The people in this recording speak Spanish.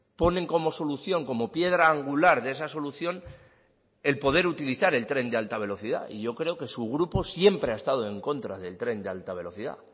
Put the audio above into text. ponen como solución como piedra angular de esa solución el poder utilizar el tren de alta velocidad y yo creo que su grupo siempre ha estado en contra del tren de alta velocidad